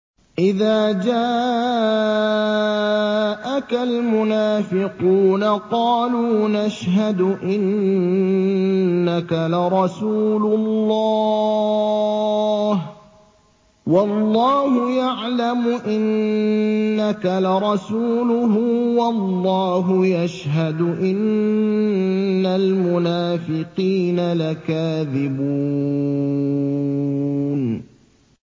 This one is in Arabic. إِذَا جَاءَكَ الْمُنَافِقُونَ قَالُوا نَشْهَدُ إِنَّكَ لَرَسُولُ اللَّهِ ۗ وَاللَّهُ يَعْلَمُ إِنَّكَ لَرَسُولُهُ وَاللَّهُ يَشْهَدُ إِنَّ الْمُنَافِقِينَ لَكَاذِبُونَ